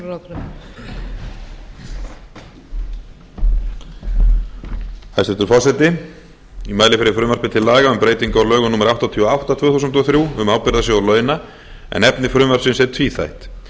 hæstvirtur forseti ég mæli fyrir frumvarpi til laga um breytingu á lögum númer áttatíu og átta tvö þúsund og þrjú um ábyrgðarsjóð launa en efni frumvarpsins er tvíþætt